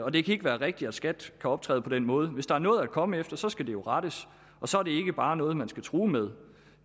det kan ikke være rigtigt at skat kan optræde på den måde hvis der er noget at komme efter så skal det jo rettes og så er det ikke bare noget man skal true med